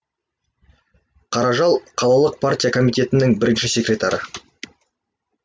қаражал қалалық партия комитетінің бірінші секретары